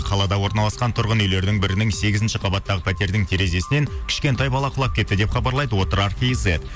қалада орналасқан тұрғын үйлердің бірінің сегізінші қабаттағы пәтердің терезесінен кішкентай бала құлап кетті деп хабарлайды отырар кизет